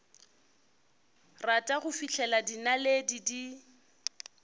rata go fihlela dinaledi di